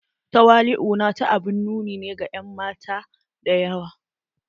Tawali'u na ta abun nuni ne ga en mata da yawa.